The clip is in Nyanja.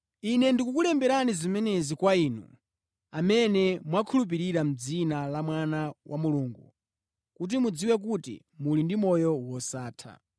Ine ndikulemba zimenezi kwa inu, amene mwakhulupirira dzina la Mwana wa Mulungu kuti mudziwe kuti muli ndi moyo wosatha.